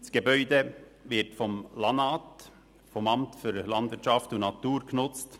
Das Gebäude wird vom Amt für Landwirtschaft und Natur (LANAT) genutzt.